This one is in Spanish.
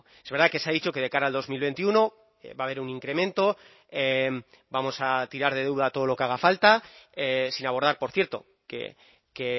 es verdad que se ha dicho que de cara al dos mil veintiuno va a haber un incremento vamos a tirar de deuda todo lo que haga falta sin abordar por cierto que